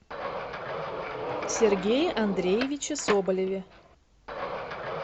сергее андреевиче соболеве